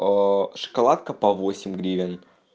шоколадка по восемь гривен